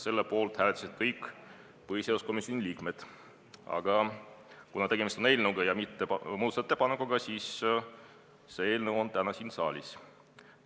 Selle poolt hääletasid kõik põhiseaduskomisjoni liikmed, aga kuna tegemist on eelnõuga, mitte muudatusettepanekuga, siis see eelnõu on täna siin saalis.